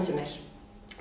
sem er